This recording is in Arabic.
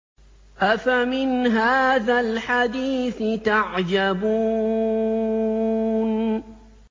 أَفَمِنْ هَٰذَا الْحَدِيثِ تَعْجَبُونَ